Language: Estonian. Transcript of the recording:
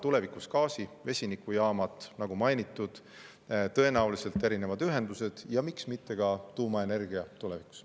Tulevikus on gaasi-vesinikujaamad, nagu mainitud, tõenäoliselt erinevad ühendused ja miks mitte ka tuumaenergia tulevikus.